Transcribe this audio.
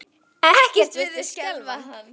Ekkert virtist skelfa hann.